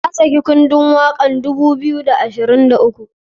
Ya saki kundun wakan 2023.